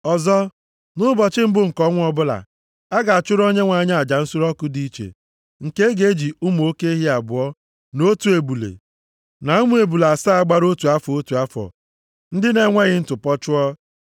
“ ‘Ọzọ, nʼụbọchị mbụ nke ọnwa ọbụla, a ga-achụrụ Onyenwe anyị aja nsure ọkụ dị iche, nke a ga-eji ụmụ oke ehi abụọ, na otu ebule, na ụmụ ebule asaa gbara otu afọ, otu afọ, ndị na-enweghị ntụpọ chụọ.